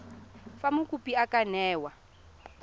fa mokopi a ka newa